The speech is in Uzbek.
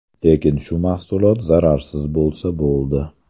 Lekin shu mahsulot zararsiz bo‘lsa, bo‘ldi.